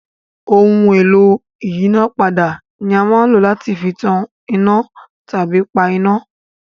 Ohun-èlò ìyínápadà ni a máa ń lò láti fi tan iná tàbí pa iná.